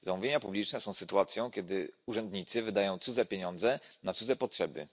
Zamówienia publiczne są sytuacją, w której urzędnicy wydają cudze pieniądze na cudze potrzeby.